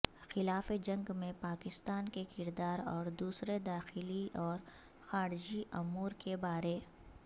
خلاف جنگ میں پاکستان کے کردار اور دوسرے داخلی اور خارجی امور کے بارے